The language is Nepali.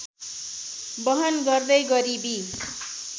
बहन गर्दै गरिबी